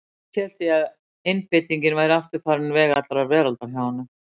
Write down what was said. Fyrst hélt ég að einbeitingin væri aftur farin veg allrar veraldar hjá honum.